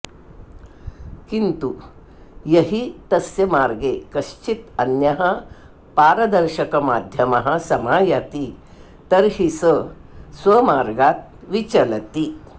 किन्तु यहि तस्य मार्गे कश्चिद् अन्यः पारदर्शकमाध्यमः समायाति तर्हि स स्वमार्गात् विचलति